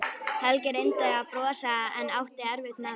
Helgi reyndi að brosa en átti erfitt með það.